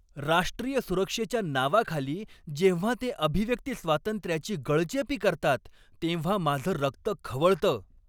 राष्ट्रीय सुरक्षेच्या नावाखाली जेव्हा ते अभिव्यक्ती स्वातंत्र्याची गळचेपी करतात तेव्हा माझं रक्त खवळतं.